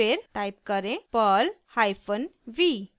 फिर टाइप करें perl hyphen v